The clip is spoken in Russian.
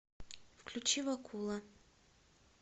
включи вакула